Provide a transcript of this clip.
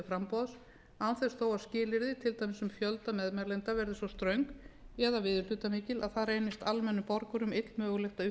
þess þó að skilyrði til dæmis um fjölda meðmælenda verði svo ströng eða viðurhlutamikil að það reynist almennum borgurum illmögulegt að uppfylla þau